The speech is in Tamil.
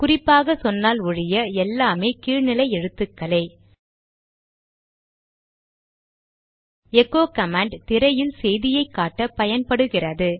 குறிப்பாக சொன்னால் ஒழிய எல்லாம் கீழ் நிலை எழுத்துக்களே எகோ கமாண்ட் திரையில் செய்தியை காட்ட பயன்படுகிறது